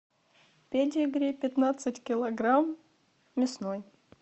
педигри пятнадцать килограмм мясной